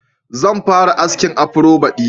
Zan fara askin afro baɗi.